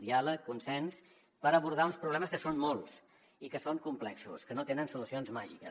diàleg consens per abordar uns problemes que són molts i que són complexos que no tenen solucions màgiques